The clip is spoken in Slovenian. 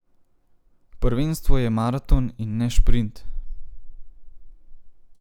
Prvenstvo je maraton in ne šprint.